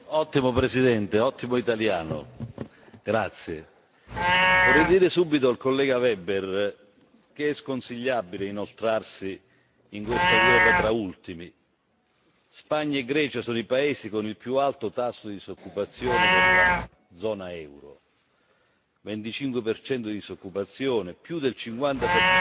Signor Presidente, onorevoli colleghi, vorrei dire subito al collega Weber che è sconsigliabile inoltrarsi in questa guerra tra ultimi. Spagna e Grecia sono i paesi con il più alto tasso di disoccupazione della zona euro 25 di disoccupazione, più del 50